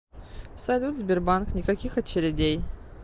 салют сбербанк никаких очередей